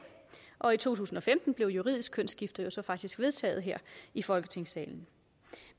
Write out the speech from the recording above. og i to tusind og femten blev juridisk kønsskifte jo så faktisk vedtaget her i folketingssalen